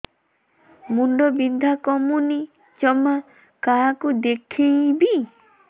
ମୁଣ୍ଡ ବିନ୍ଧା କମୁନି ଜମା କାହାକୁ ଦେଖେଇବି